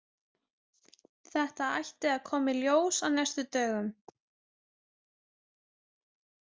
Þetta ætti að koma í ljós á næstu dögum.